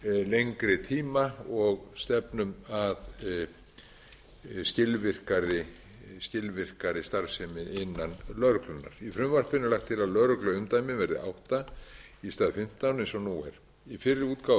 lengri tíma og stefnum að skilvirkari starfsemi innan lögreglunnar í frumvarpinu er lagt til að lögregluumdæmi verði átta í stað fimmtán eins og nú er í fyrri útgáfu